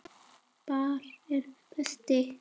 Hvar er Berti?